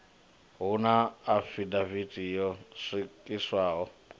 hu na afidavithi yo swikiswaho